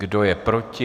Kdo je proti?